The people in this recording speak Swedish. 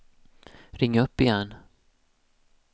ring upp igen